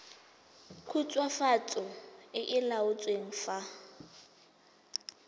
khutswafatso e e laotsweng fa